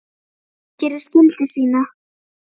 Hann gerir skyldu sína.